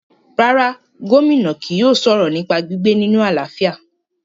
rárá, Gómìnà kì yóò sọ̀rọ̀ nípa gbígbé nínu àlàáfíà